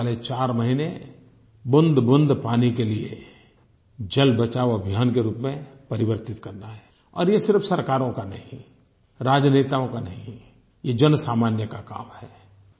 आने वाले चार महीने बूँदबूँद पानी के लिए जल बचाओ अभियान के रूप में परिवर्तित करना है और ये सिर्फ सरकारों का नहीं राजनेताओं का नहीं ये जनसामान्य का काम है